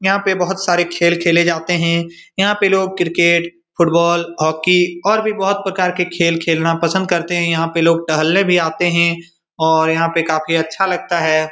यहाँ पे बोहोत सारे खेल खेले जाते हैं। यहाँ पे लोग क्रिकेट फुटबॉल हॉकी और भी बोहोत प्रकार के खेल खेलना पसंद करते हैं। यहाँ पे लोग टहलने भी आते हैं और यहाँ पे काफी अच्छा लगता है।